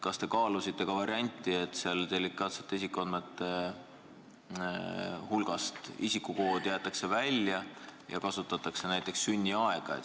Kas te kaalusite varianti, et delikaatsete isikuandmete hulgast jäetakse isikukood välja ja kasutatakse näiteks sünniaega?